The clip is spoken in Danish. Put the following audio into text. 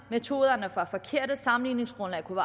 metoderne var forkerte at sammenligningsgrundlaget kunne